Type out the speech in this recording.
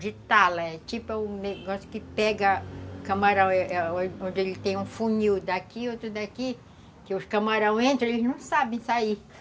de tala, é tipo o negócio que pega camarão, onde ele tem um funil daqui, outro daqui, que os camarões entram, eles não sabem sair.